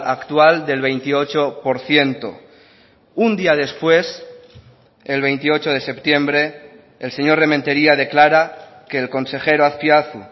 actual del veintiocho por ciento un día después el veintiocho de septiembre el señor rementeria declara que el consejero azpiazu